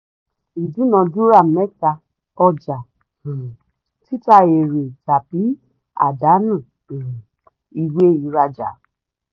idunadura mẹta: ọjà um títa èrè tàbí àdánù um ìwé ìrajá.